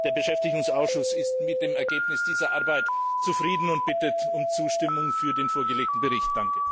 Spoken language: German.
Der Beschäftigungsausschuss ist mit dem Ergebnis dieser Arbeit zufrieden und bittet um Zustimmung zu dem vorgelegten Bericht.